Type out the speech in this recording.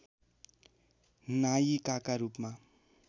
नायिकाका रूपमा